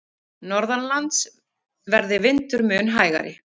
Norðanlands verði vindur mun hægari